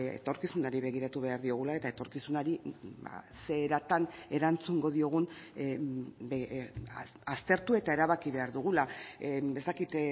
etorkizunari begiratu behar diogula eta etorkizunari ze eratan erantzungo diogun aztertu eta erabaki behar dugula ez dakit